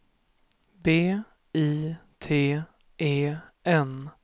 B I T E N